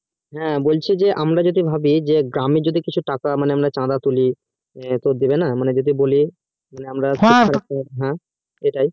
হ্যাঁ বলছি যে আমরা যদি ভাবি গ্রামের যদি কিছু টাকা মানে আমরা চাঁদা তুলি হ্যাঁ তো দিবে না হ্যাঁ সেটাই